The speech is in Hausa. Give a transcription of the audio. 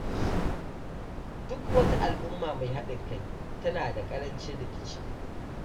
Duk wata al’umma mai haɗin kai tana da ƙarancin rikici.